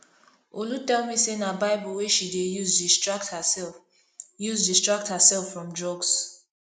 olu tell me say na bible wey she dey use distract herself use distract herself from drugs